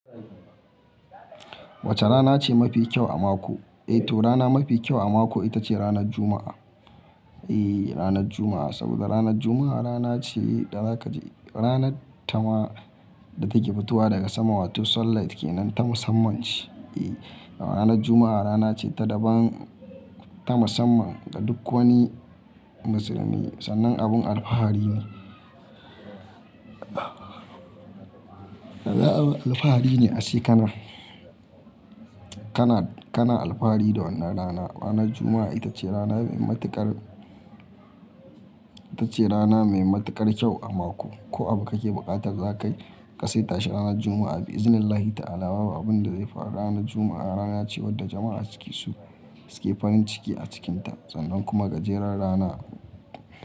Wace rana ce mafi kyau a mako? Eh to rana mafi kyau a mako ita ce ranar Juma'a. Eyy, ranar Juma'a saboda ranar Juma'a rana ce da na ka je-- rana ta ma da take fitowa daga sama wato sunlight ke nan ta musamman ce. Eyy, ranar Juma'a rana ce ta daban, ta musamman da duk wani musulmi, sannan abun alfahari ne. Alfahari ne a shekara, kana, kana alfahari da wannan rana. Ranar Juma'a ita ce rana mai matuƙar, ita ce rana mai matuƙar kyau a mako. Ko abu kake buƙatar zakai ka saita shi ranar Juma'a bi'iznillahi ta'ala. Babu abin da zai faru ranar Juma'a rana ce wadda jama'a suke su, suke farin ciki a cikinta. Sannan kuma gajeren rana.